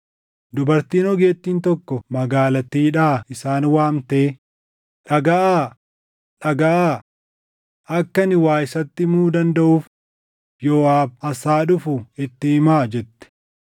dubartiin ogeettiin tokko magaalattiidhaa isaan waamtee, “Dhagaʼaa! Dhagaʼaa! Akka ani waa isatti himuu dandaʼuuf Yooʼaab as haa dhufu itti himaa” jette.